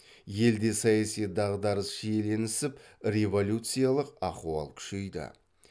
елде саяси дағдарыс шиеленісіп революциялық ахуал күшейді